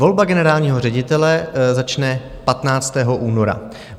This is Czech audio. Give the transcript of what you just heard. Volba generálního ředitele začne 15. února.